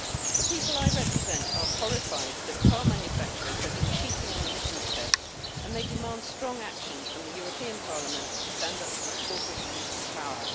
The people I represent are horrified that car manufacturers have been cheating on emissions tests, and they demand strong action from the European Parliament to stand up to this corporate abuse of power.